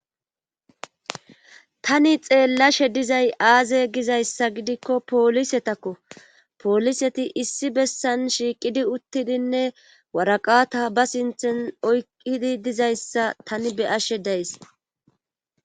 Tani xeellashe dizay aaze gizayssa gidikko poolisetakko pooliseti issi bessan shiiqidi uttidinne waraqata ba sinthen oykkidi dizayssa tani beyashe days.